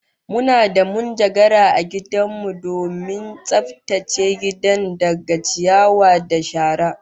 Muna da munjagara a gidan mu domin tsaftace gidan daga ciyawa da shara